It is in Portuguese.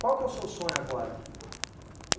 Qual que é o seu sonho agora?